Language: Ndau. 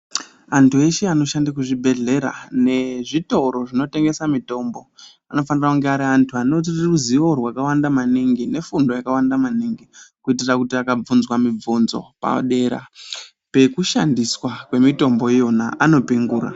Antu eshe anoshande kuzvibhedhlera nezvitoro zvinotengese mitombo anofanira kunge ari antu aneruzivo rwakawanda maningi, nefundo yakawanda maningi. Kuitira kuti akabvunzwa mibvinzo padera pekushandiswa kwemitombo iyona anopingura.